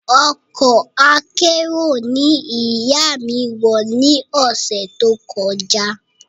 Ọkọ̀ akérò ní ìyá mí wọ ni ọ̀sẹ̀ tó kọjá